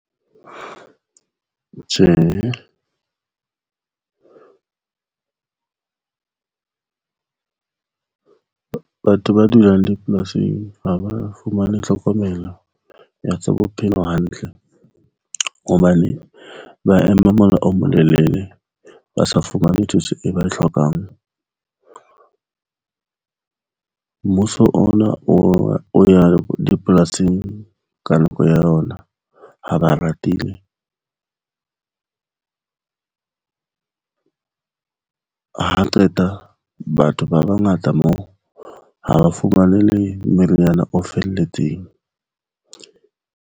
Tjhe, batho ba dulang dipolasing ha ba fumane tlhokomelo ya tsa bophelo hantle hobane ba ema mola o molelele, ba sa fumane thuso e ba e hlokang. Mmuso ona o ya dipolasing ka nako ya bona. Ha ba ratile ha qeta batho ba bangata moo ha ba fumane le meriana o felletseng.